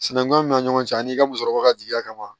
Sinankunya min bɛ ɲɔgɔn cɛ an'i ka musɔrɔ ka jigiya kama